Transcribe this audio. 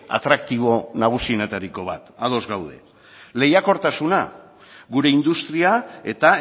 atraktibo nagusienetariko bat ados gaude lehiakortasuna gure industria eta